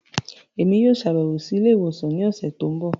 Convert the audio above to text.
Emi yoo ṣabẹwo si ile-iwosan ni ọsẹ ti n bọ.